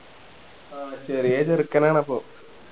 ആഹ് ചെറിയ ചെറുക്കൻ ആണ് അപ്പം